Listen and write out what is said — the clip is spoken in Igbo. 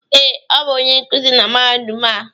Ee, ọ bụ onye nkuzi na mahadum a.